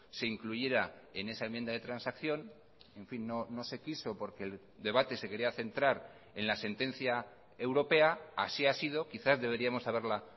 se incluyera en esa enmienda de transacción en fin no se quiso porque el debate se quería centrar en la sentencia europea así ha sido quizás deberíamos haberla